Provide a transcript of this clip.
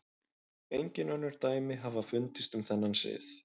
Engin önnur dæmi hafa fundist um þennan sið.